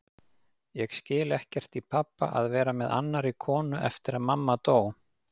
Ég skil ekkert í pabba að vera með annarri konu eftir að mamma dó.